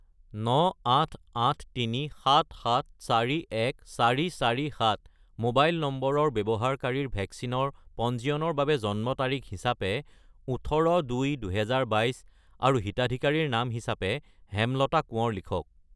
98837741447 mobile নম্বৰৰ ব্যৱহাৰকাৰীৰ ভেকচিনৰ পঞ্জীয়নৰ বাবে জন্ম তাৰিখ হিচাপে 18-2-2022 আৰু হিতাধিকাৰীৰ নাম হিচাপে হেমলতা কোঁৱৰ লিখক।